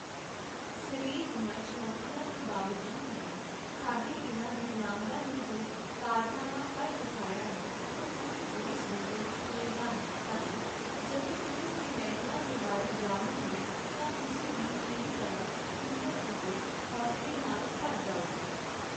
ਸਰੀਰ ਦੀਆਂ ਚੁਣੌਤੀਆਂ ਦੇ ਬਾਵਜੂਦ ਵੀ ਸਾਡੇ ਇਨ੍ਹਾਂ ਦਿੱਵਯਾਂਗਾਂ ਨੇ ਜੋ ਕਾਰਨਾਮਾ ਕਰ ਵਿਖਾਇਆ ਹੈ, ਉਹ ਪੂਰੇ ਦੇਸ਼ ਦੇ ਲਈ ਪ੍ਰੇਰਣਾ ਹੈ ਅਤੇ ਜਦੋਂ ਟੀਮ ਦੇ ਮੈਂਬਰਾਂ ਦੇ ਬਾਰੇ ਜਾਣੋਗੇ ਤਾਂ ਤੁਸੀਂ ਵੀ ਮੇਰੀ ਤਰ੍ਹਾਂ ਹਿੰਮਤ ਅਤੇ ਹੌਸਲੇ ਨਾਲ ਭਰ ਜਾਓਗੇ।